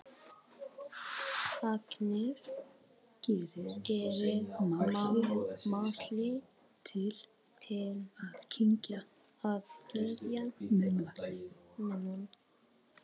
Agnes gerir málhlé til að kyngja munnvatni.